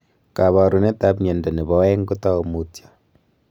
kaparunet ap mianda nepo aeng kotau mutyo